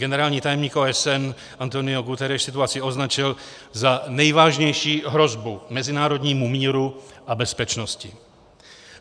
Generální tajemník OSN António Guterres situaci označil za nejvážnější hrozbu mezinárodnímu míru a bezpečnosti.